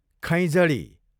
खैँजडी